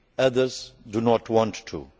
Others do not want